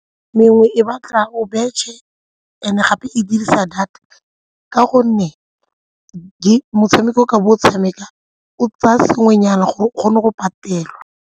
Mengwe e batla o betšhe and gape e dirisa data ka gonne motshameko ka bo o tshameka o tsaya sengwenyana gore o kgone go patelwa.